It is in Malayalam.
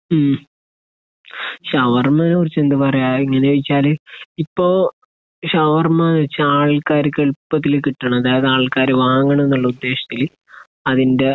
ഉം. ഷവർമ്മയെക്കുറിച്ച് എന്താ പറയുക, ഇങ്ങനെ ചോദിച്ചാൽ ഇപ്പൊ ഷവർമ്മ കഴിച്ച ആൾക്കാർക്ക് എളുപ്പത്തിൽ കിട്ടണത്, അത് ആൾക്കാർ വാങ്ങണമെന്നുള്ള ഉദ്ദേശ്യത്തിൽ അതിന്റെ